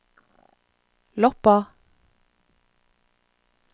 Loppa